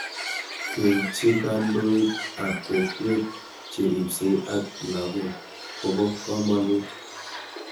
Keitchi kandoik ab kokwet cheripsei ak lakok kopo kamanut